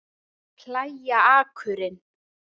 Að plægja akurinn